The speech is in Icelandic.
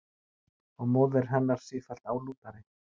Og móðir hennar sífellt álútari.